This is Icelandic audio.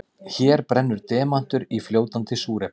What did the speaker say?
Hér brennur demantur í fljótandi súrefni.